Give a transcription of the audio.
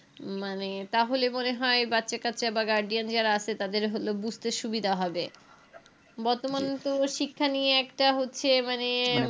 মানে তাহলে মনে হয় বাচ্চা কাচ্চা বা Guardian যারা আছে তাদের হলো বুঝতে সুবিধা হবে বর্তমান তো শিক্ষা নিয়ে একটা হচ্ছে মানে